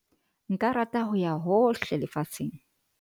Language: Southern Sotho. nka rata ho ya hohle lefatsheng